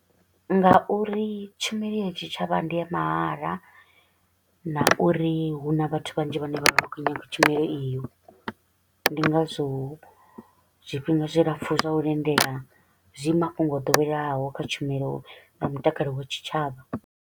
Nga uri tshumelo ya tshitshavha ndi ya mahala na uri hu na vhathu vhanzhi vhane vha vha vha tshi kho u nyaga tshumelo iyo, ndi ngazwo zwifhinga zwilapfu zwa u lindela zwi mafhungo o doweleaho kha tshumelo ya mutakalo wa tshitshavha.